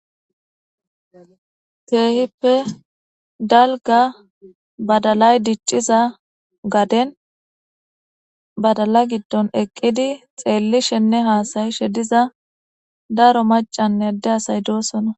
Keehippe dalga badalay dicciza gaden badala giddon eqqidi xeellishenne haasayishe diza daro macanne ade asay doosona.